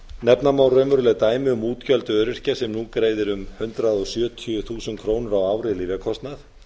nefna má raunveruleg dæmi um útgjöld öryrkja sem nú greiðir um hundrað sjötíu þúsund krónur á ári í lyfjakostnað